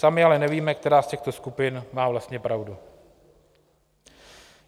Sami ale nevíme, která z těchto skupin má vlastně pravdu.